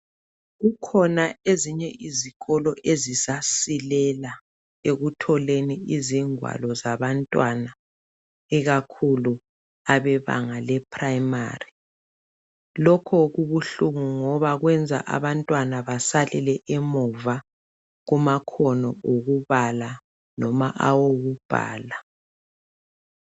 Kukhona ezinye izikolo ezisasilela ekutholeni ingwalo zabantwana ikakhulu abebanga leprimary lokho kubuhlungu ngoba kwenza abantwana basalele emuva kumakhono okubala loba awokubhala.